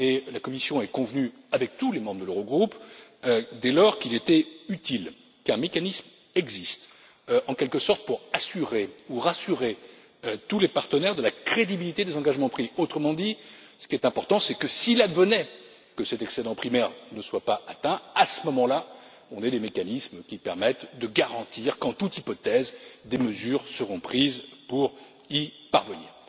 La Commission a convenu avec tous les membres de l'Eurogroupe, dès lors, qu'il était utile qu'un mécanisme existe, en quelque sorte pour assurer ou rassurer tous les partenaires quant à la crédibilité des engagements pris. Autrement dit, ce qui importe, c'est que, si d'aventure, cet excédent primaire devait ne pas être atteint, à ce moment là, on aurait les mécanismes qui permettent de garantir qu'en toute hypothèse, des mesures seront prises pour y parvenir.